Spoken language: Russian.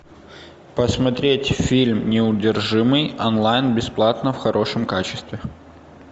посмотреть фильм неудержимый онлайн бесплатно в хорошем качестве